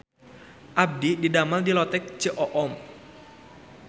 Abdi didamel di Lotek Ceu Oom